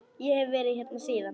Ég hef verið hérna síðan.